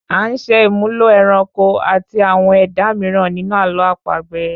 A ń ṣe ìmúlò ẹranko àti àwọn ẹ̀dá mìíràn ninu àlọ àpagbè